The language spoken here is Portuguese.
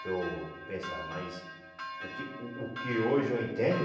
Que eu pensava, mas o que o o que hoje eu entendo...